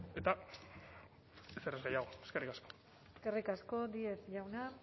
eta ezer ez gehiago eskerrik asko eskerrik asko díez jauna